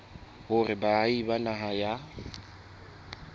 hore baahi ba naha ya